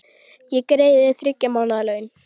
Ég greiði þér þriggja mánaða laun.